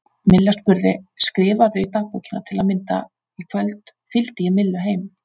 Milla spurði: Skrifarðu í dagbókina til að mynda: Í kvöld fylgdi ég Millu heim?